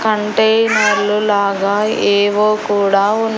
కంటే నల్లు లాగా ఏవో కూడా ఉన్.